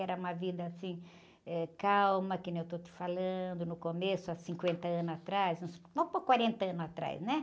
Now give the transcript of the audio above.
Era uma vida assim, eh, calma, que nem eu estou te falando, no começo, há cinquenta anos atrás, uns, vamos pôr quarenta anos atrás, né?